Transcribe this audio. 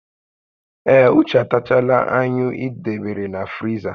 Ee, Uche atachaala anyụ ị debere na friza